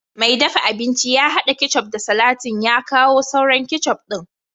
mai dafa abinci ya hada ketchup da salatin ya kawo sauran ketchup din